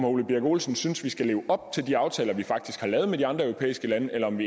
ole birk olesen synes vi skal leve op til de aftaler vi faktisk har lavet med de andre europæiske lande eller om